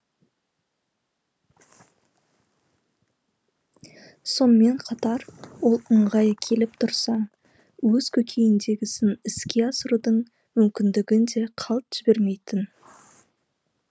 сонымен катар ол ыңғайы келіп тұрса өз көкейіндегісін іске асырудың мүмкіндігін де қалт жібермейтін